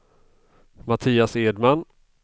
Mattias Edman